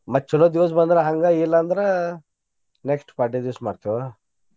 ಮತ್ತ್ ಚೊಲೋ ದಿವ್ಸ ಬಂದ್ರ ಹಂಗ ಇಲ್ಲಾ ಅಂದ್ರ next ಪಾಡ್ಯಾ ದಿವ್ಸ ಮಾಡ್ತೇವ.